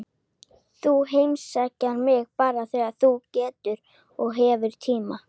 Þú heimsækir mig bara þegar þú getur og hefur tíma.